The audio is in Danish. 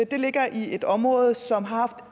det ligger i et område som har haft